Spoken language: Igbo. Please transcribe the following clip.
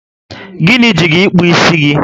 Gịnị ji gị ịkpụ isi gị?